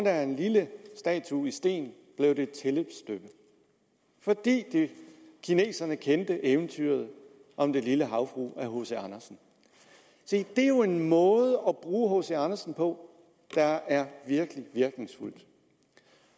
af en lille statue i sten blev det et tilløbsstykke fordi kineserne kendte eventyret om den lille havfrue af hc andersen se det er jo en måde at bruge hc andersen på der er virkelig virkningsfuld